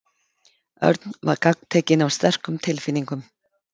Örn var gagntekinn af sterkum tilfinningum.